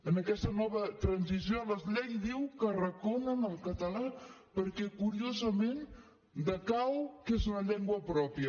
en aquesta nova transició la llei diu que arraconen el català perquè curiosament decau que és una llengua pròpia